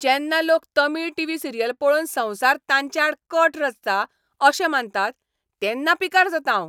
जेन्ना लोक Tamil TV serial पळोवन संवसार तांचे आड कट रचता अशें मानतात तेन्ना पिकार जातां हांव.